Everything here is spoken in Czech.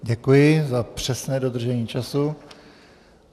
Děkuji za přesné dodržení času.